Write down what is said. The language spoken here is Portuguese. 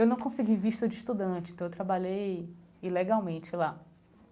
Eu não consegui visto de estudante, então eu trabalhei ilegalmente lá.